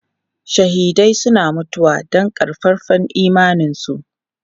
Shahidai suna mutuwa don ƙaƙƙarfan imaninsu.